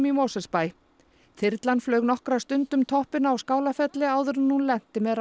í Mosfellsbæ þyrlan flaug nokkra stund um toppinn á Skálafelli áður en hún lenti með